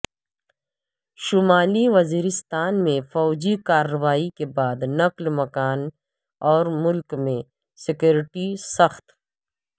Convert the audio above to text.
شمالی وزیرستان میں فوجی کارروائی کے بعد نقل مکانی اور ملک میں سکیورٹی سخت